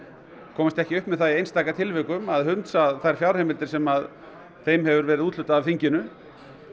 komist ekki upp með það í einstaka tilvikum að hunsa þær fjárheimildir sem þeim hefur verið úthlutað af þinginu